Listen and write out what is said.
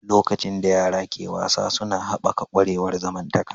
Lokacin da yara ke wasa suna haɓaka ƙwarewar zamantakewa.